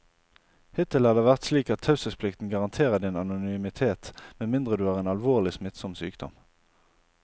Hittil har det vært slik at taushetsplikten garanterer din anonymitet med mindre du har en alvorlig, smittsom sykdom.